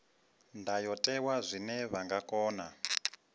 ndayotewa zwine vha nga kona